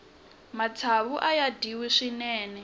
matsavu aya dyiwa swinene